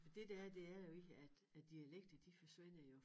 For det det er det er jo egentlig at æ dialekter de forsvinder jo